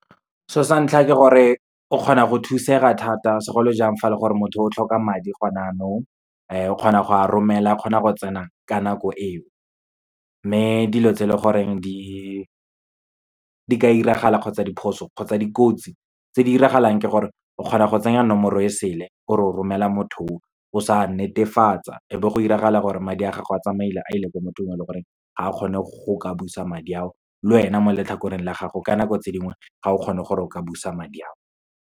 So santlha ke gore, o kgona go thusega thata segolojang fa e le gore motho o tlhoka madi gone yanong, o kgona go a romela, a kgona go tsena ka nako eo. Mme dilo tse e leng gore di ka diragala kgotsa diphoso kgotsa dikotsi tse di diragalang ke gore, o kgona go tsenya nomoro e sele ore o romela motho o, o sa netefatsa e be go diragala gore madi a gago a tsamaile, a ile ko motho o leng gore ga a kgone go ka busa madi ao. Lwena mo letlhakoreng la gago, ka nako tse dingwe ga o kgone gore o ka busa madi ao.